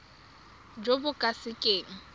jo bo ka se keng